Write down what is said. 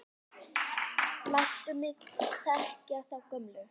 Láttu mig þekkja þá gömlu!